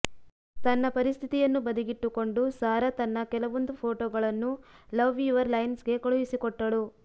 ತನ್ನ ಪರಿಸ್ಥಿತಿಯನ್ನು ಬದಿಗಿಟ್ಟುಕೊಂಡು ಸಾರಾ ತನ್ನ ಕೆಲವೊಂದು ಫೋಟೊಗಳನ್ನು ಲವ್ ಯುವರ್ ಲೈನ್ಸ್ಗೆ ಕಳುಹಿಸಿಕೊಟ್ಟಳು